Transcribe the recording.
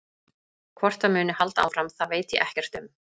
Hvort það muni halda áfram það veit ég ekkert um.